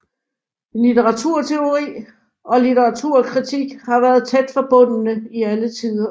Litteraturteori og litteraturkritik har vært tæt forbundet i alle tider